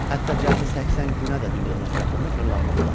Hətta cəmi 80 günə də dünyanın ətrafında fırlanmaq olar.